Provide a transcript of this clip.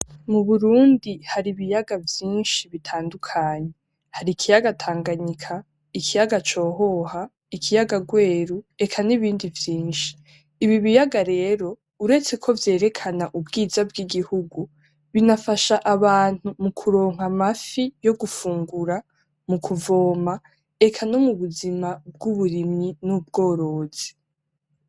Mu Burundi har'ibiyaga vyinshi bitandukanye ,har' ikiyaga Tanganyika, ikiyaga Cohoha ,ikiyaga Rweru, eka n'ibindi vyinshi, ibi biyaga rero uretse ko vyerekena ubwiza bw'igihugu bifanasha abantu mukuronka Amafi yogufungura ,mukuvoma eka nom'ubuzima bw'uburimyi ,n'ubworozi.